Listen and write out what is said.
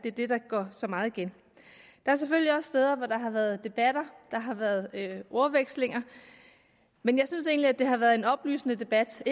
er det der går så meget igen der er selvfølgelig også steder hvor der har været debatter og har været ordvekslinger men jeg synes egentlig at det har været en oplysende debat og